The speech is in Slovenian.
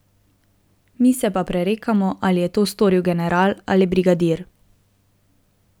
Mi se pa prerekamo, ali je to storil general ali brigadir.